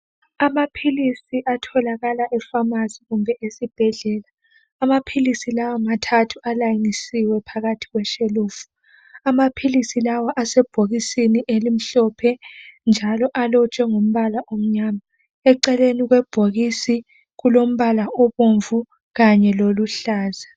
Amaphilisi atholakala epharmacy kumbe esibhedlela , amaphilisi lawa mathathu alayinisiwe phakathi kweshelufu , amaphilisi lawa asebhokisini elimhlophe njalo alotshwe ngombala omnyama , eceleni kwebhokisi kulombala obomvu kanye loluhlaza